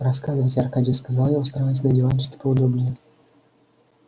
рассказывайте аркадий сказал я устраиваясь на диванчике поудобнее